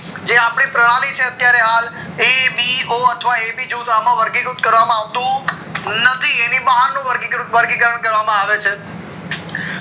જે આપડી પ્રણાલી છે હાલ A B OAB જૂથ અમ વર્ગી વૃત કરવામાં આવતું નથી એની બહાર નું વર્ગી કારણ કરવામાં આવે છે